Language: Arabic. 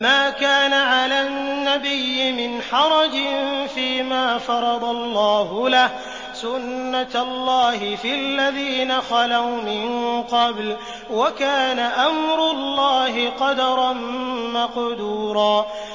مَّا كَانَ عَلَى النَّبِيِّ مِنْ حَرَجٍ فِيمَا فَرَضَ اللَّهُ لَهُ ۖ سُنَّةَ اللَّهِ فِي الَّذِينَ خَلَوْا مِن قَبْلُ ۚ وَكَانَ أَمْرُ اللَّهِ قَدَرًا مَّقْدُورًا